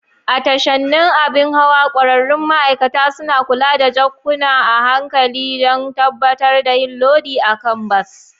A tashanin abin hawa, ƙwararrun ma'aikata suna kula da jakunkuna a hankali don tabbatar da yin lodi a kan bas.